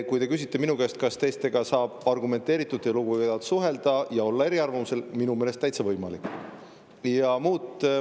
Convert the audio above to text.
Kui minu käest küsida, kas teistega saab argumenteeritult ja lugupidavalt suhelda ja olla eriarvamusel, minu meelest on see täitsa võimalik.